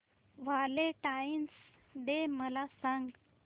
Valentine's day मला सांग